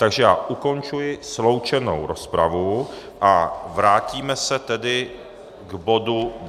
Takže já ukončuji sloučenou rozpravu a vrátíme se tedy k bodu